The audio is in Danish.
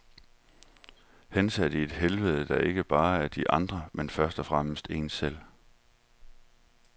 Hensat i et helvede, der ikke bare er de andre, men først og fremmest en selv.